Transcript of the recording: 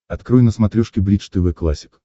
открой на смотрешке бридж тв классик